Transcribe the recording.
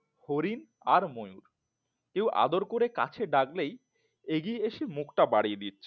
হরিণ আর ময়ূর কেউ আদর করে কাছে ডাকলেই এগিয়ে এসে মুখটা বাড়িয়ে দিচ্ছে